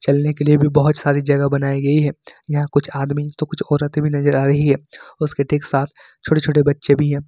चलने के लिए भी बहोत सारी जगह बनाई गई है यहां कुछ आदमी तो कुछ औरतें भी नजर आ रही है उसके ठीक साथ छोटे छोटे बच्चे भी है।